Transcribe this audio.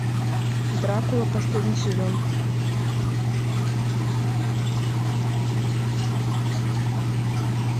дракула последний сезон